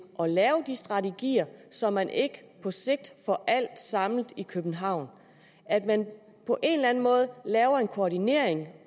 at lave de strategier så man ikke på sigt får alt samlet i københavn at man på en eller anden måde laver en koordinering